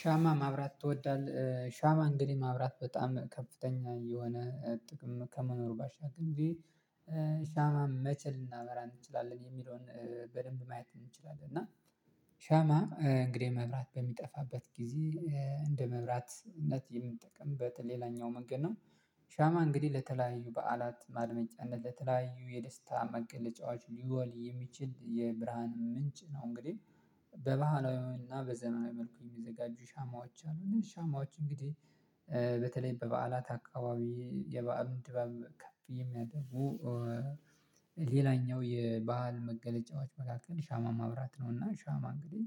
"ሻማ ማብራት ትወዳለህ?" ሻማ እንግዲህ ማብራት በጣም ከፍተኛ የሆነ ጥቅም ከመኖሩ ባሻገር ሻማ ሻማ መቼ ልናበራ እንችላለን የሚለውን በደንብ ማየት እንችላለን፤ እና ሻማ እንግዲህ መብራት በሚጠፋበት ጊዜ እንደ መብራትነት የምንጠቀምበት ሌላኛው መንገድ ነው። ሻማ እንግዲህ ለተለያዩ በዓላት ማድመቂያነት ለተለያዩ የደስታ መገለጫዋች ሊወል የሚችል የብርሃን ምንጭ ነው እንግዲህ በባህላዊና በዘመናዊ መልኩ የሚዘጋጁ ሻማዎች አሉ። እነዚህ ሻማዎች እንግዲህ በተለይ በበዓላት አካባቢ የበአሉን ድባብ ከፍ የሚያደርጉ ሌላኛው የባህል መገለጫዎች መካከል ሻማ ማብራት ነው፤ እና ሻማ እንግዲህ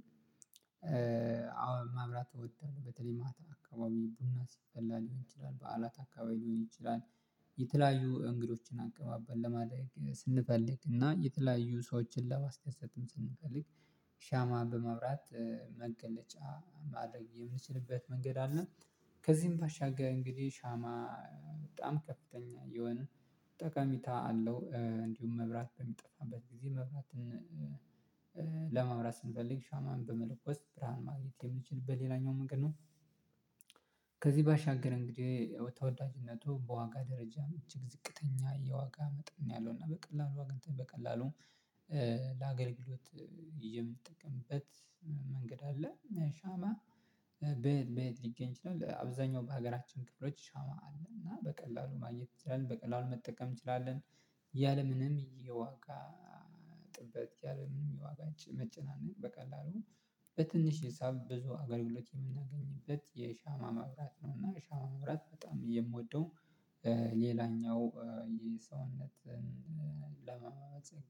አዎ ማብራት እወዳለሁ በተለይ ማታ አካባቢ ቡና ሲፈላ ሊሆን ይችላል፣ በዓላት አካባቢ ሊሆን ይችላል፣ የተለያዩ እንግዶችን አቀባበል ለማድረግ ስንፈልግ እና የተለያዩ ሰዎችን ለማስደሰትም ስንፈልግ ሻማ በማብራት መገለጫ ማድረግ የምንችልበት መንገድ አለ። ከዚህም ባሻገር እንግዲህ ሻማ በጣም ከፍተኛ የሆነ ጠቀሜታ አለው። እንዲሁም መብራት በሚጠፋበት ጊዜ መብራትን ለማብራት ስንፈልግ ሻማን በመለኮት ብርሃን ማግኘት የምንችልበት ሌላኛው መንገድ ነው። ከዚህ ባሻገር እንግዲህ ተወዳጅነቱ በዋጋ ደረጃ መቼም ዝቅተኛ የዋጋ መጠን ነው ያለው እና በቀላሉ ዋጋ በቀላሉ ለአገልግሎት የምንጠቀምበት መንገድ አለ። "ሻማ በየት በየት ሊገኝ ይችላል?" አብዛኛው በሀገራችን ክፍሎች ሻማ አለ፤ እና በቀላሉ ማግኘት እንችላለን በቀላሉ መጠቀም እንችላለን። ያለምንም የዋጋ ጥበት ያለምንም የዋጋ መጨናነቅ በቀላሉ በትንሽ ሂሳብ ብዙ አገልግሎት የምናገኝበት የሻማ መብራት ነው፤ እና ሻማ መብራት በጣም የምወደው ሌላኛው የሰውነትን ለማጸገ